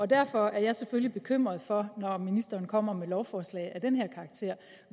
derfor er jeg selvfølgelig bekymret for når ministeren kommer med et lovforslag af den her karakter